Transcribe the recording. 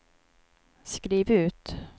skriv ut